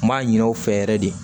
N b'a ɲin'aw fɛ yɛrɛ de